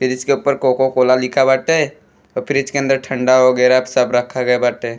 fridge के ऊपर Coca Cola लिखा बाटे फ्रिज के अंदर ठंडा वगैरह सब रखा गया बाटे --